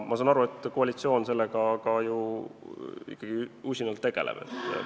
Ma saan aru, et koalitsioon sellega usinalt tegeleb.